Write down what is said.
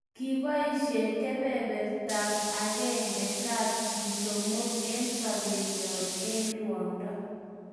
Kiboisie kebertab agenge kepchee somok eng sobenyo eng ruondo